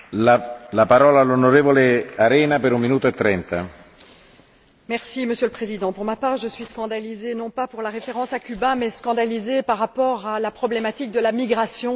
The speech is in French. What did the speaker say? Monsieur le Président, pour ma part je suis scandalisée, non pas pour la référence à Cuba, mais scandalisée par rapport à la problématique de la migration certains ont utilisé le virus Ebola pour parler de cette migration.